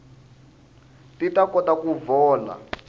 ti ta kota ku vohla